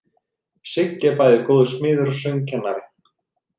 Siggi er bæði góður smiður og söngkennari.